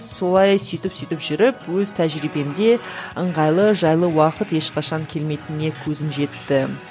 солай сүйтіп сүйтіп жүріп өз тәжірибемде ыңғайлы жайлы уақыт ешқашан келмейтініне көзім жетті